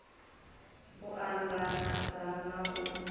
u and adza na u